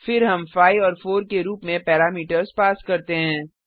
फिर हम 5 और 4 के रूप में पैरामीटर्स पास करते हैं